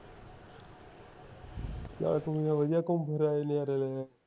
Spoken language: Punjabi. ਚੱਲ ਕੋਈ ਨਾ ਵਧੀਆ ਗੁੱਮ ਫਿਰ ਆਏ ਨਜਾਰੇ ਲੈ ਆਏ